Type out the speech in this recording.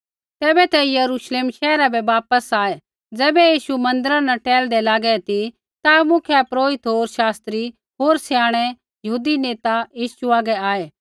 तैबै ते यरूश्लेम शैहरा बै वापस आऐ ज़ैबै यीशू मन्दिरा न टैहलदा लागा ती ता मुख्यपुरोहिता होर शास्त्री होर स्याणै यहूदी नेता यीशु हागै आऐ